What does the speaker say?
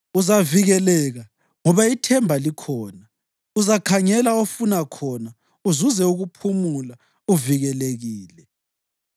Uzavikeleka, ngoba ithemba likhona; uzakhangela ofuna khona uzuze ukuphumula uvikelekile.